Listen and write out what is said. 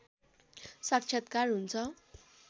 साक्षात्कार हुन्छ